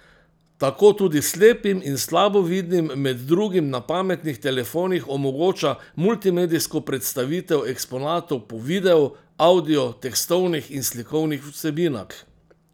Tako tudi slepim in slabovidnim med drugim na pametnih telefonih omogoča multimedijsko predstavitev eksponatov po videu, avdiu, tekstovnih in slikovnih vsebinah.